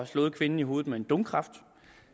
slået kvinden i hovedet med en donkraft